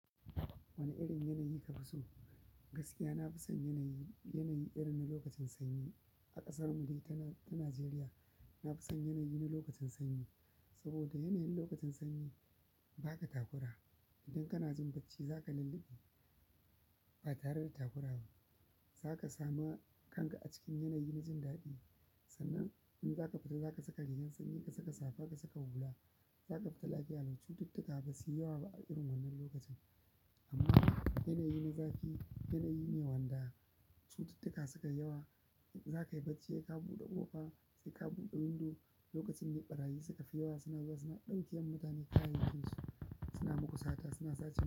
Wane irin yanayi kafi so? Gaskiya nafi son yanayi, yanayi irin na lokacin sanyi. A ƙasar mu dai ta nan, ta najeriya nafi son yanayi na lokacin sanyi. Saboda yanayin lokacin sanyi ba ka takura. Idan kana jin bacci zaka lulluɓe batare da takura ba zaka samu kanka a cikin yanayi na jin daɗi. Sannan in zaka fita zaka saka rigar sanyi, ka saka safa, ka saka hula, zaka fita lafiya lau. Cututtuka basuyi yawa ba a irin wannan lokacin. Amma yanayi na zafi yanayi ne wanda cututtuka sukayi yawa, in zakayi bacci saika buɗe ƙofa sai ka buɗe window. Lokacin ne ɓarayi suka fi yawa, suna zuwa suna ɗaukewa mutane kayayyakin su, suna muku sata, suna sace wa.